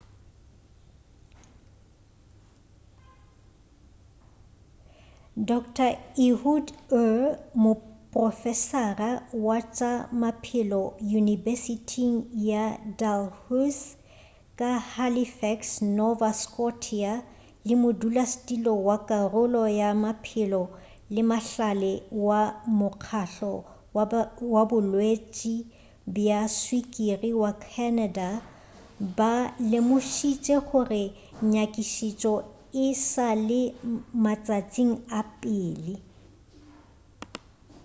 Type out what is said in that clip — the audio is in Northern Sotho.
dr ehud ur moprofesara wa tša maphelo yunibesithing ya dalhousie ka halifax nova scotia le modulasetulo wa karolo ya maphelo le mahlale wa mokgahlo wa bolwetši bja swikiri wa canada ba lemošitše gore nyakišišo e sa le matšatšing a pele